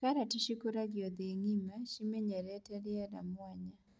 Karati cikũragio thĩ ng'ĩma ,cimenyerete rĩera mwanya.